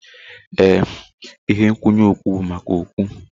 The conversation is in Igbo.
Ee, ihe nkwụnye okpu bụ maka okpu.